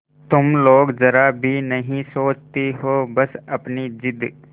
तुम लोग जरा भी नहीं सोचती हो बस अपनी जिद